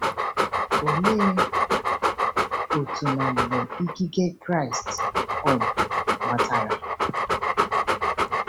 Olee otú na mgbe ikike Kraịst um gbatara?